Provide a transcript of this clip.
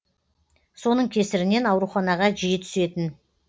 соның кесірінен ауруханаға жиі түсетін